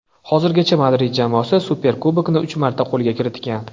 Hozirgacha Madrid jamoasi Superkubokni uch marta qo‘lga kiritgan.